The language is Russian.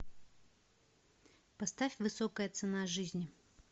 поставь высокая цена жизни